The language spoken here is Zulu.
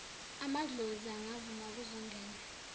amadlozi angavuma kuzongena